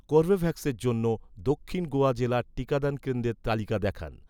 কর্বেভ্যাক্সের জন্য, দক্ষিন গোয়া জেলার টিকাদান কেন্দ্রের তালিকা দেখান